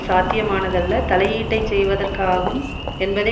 சாத்தியமானதல்ல தலையீட்டைச் செய்வதற்காகும் என்பதை